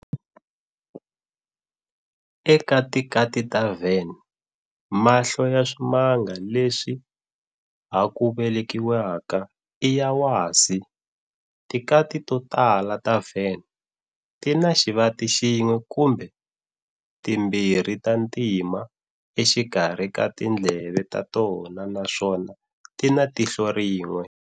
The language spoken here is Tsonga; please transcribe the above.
Eka tikati ta Van, mahlo ya swimanga leswi ha ku velekiwaka i ya wasi. Tikati totala ta Van tina xivati xin'we kumbe timbirhi ta ntima exikarhi ka tindleve ta tona naswona tina tihlo rin'we.